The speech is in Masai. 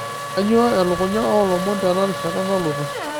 kainyio elukunya oolomon tenarishata nalotu